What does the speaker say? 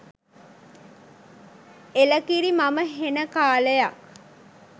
එලකිරි මම හෙන කාලයක්